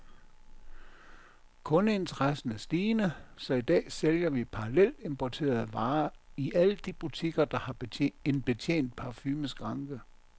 Kundeinteressen er stigende, så i dag sælger vi parallelimporterede varer i alle de butikker, der har en betjent parfumeskranke.